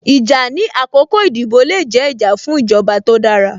Ìjà ní àkọ́kọ́ ìdìbò le jẹ́, ìjà fún ìjọba tó dára